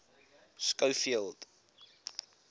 schofield